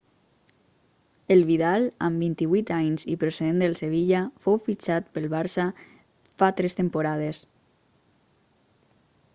el vidal amb 28 anys i procedent del sevilla fou fixtat pel barça fa tres temporades